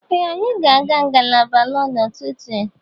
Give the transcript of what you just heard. Ee, anyị ga-aga ngalaba lọọ n'ụtụtụ.